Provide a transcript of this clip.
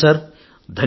ధన్యవాదాలు సార్